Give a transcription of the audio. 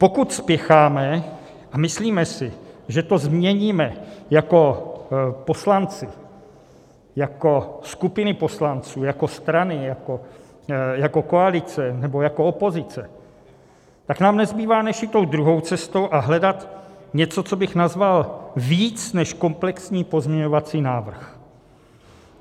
Pokud spěcháme a myslíme si, že to změníme jako poslanci, jako skupiny poslanců, jako strany, jako koalice, nebo jako opozice, tak nám nezbývá, než jít tou druhou cestou a hledat něco, co bych nazval "víc než komplexní pozměňovací návrh".